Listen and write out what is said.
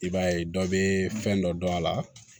I b'a ye dɔ bɛ fɛn dɔ dɔn a la